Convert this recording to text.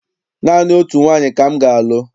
Naanị otu nwaanyị ka m ga-alụ.